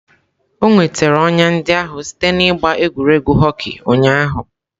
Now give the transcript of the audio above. O nwetara ọnya ndị ahụ site n'ịgba egwuregwu hockey ụnyahụ.